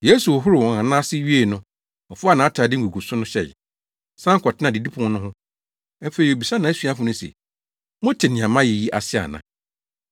Yesu hohoroo wɔn anan ase wiei no, ɔfaa nʼatade nguguso no hyɛe, san kɔtenaa didipon no ho. Afei obisaa nʼasuafo no se, “Mote nea mayɛ yi ase ana?